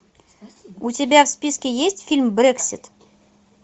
у тебя в списке есть фильм брексит